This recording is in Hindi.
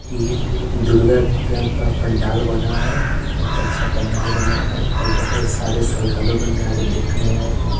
की दुर्गा पूजा का पंडाल बना है बहुत अच्छा पंडाल बना है और बहुत सारे श्रद्धालु गण यहां पे देखने आए हैं।